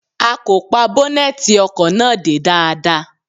A kò pa bọ́nẹ́tì ọkọ̀ náà dé dáadáa.